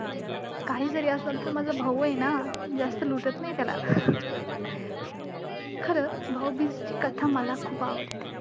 काही जरी असलं तरी तो माझा भाऊ आहे ना, जास्त लुटत नाही त्याला! खरंच, भाऊबीजेची कथा मला खूप आवडते.